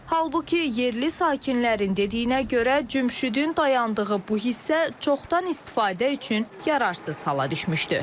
Halbuki yerli sakinlərin dediyinə görə Cümşüdün dayandığı bu hissə çoxdan istifadə üçün yararsız hala düşmüşdü.